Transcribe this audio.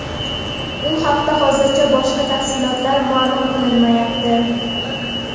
U haqida hozircha boshqa tafsilotlar ma’lum qilinmayapti.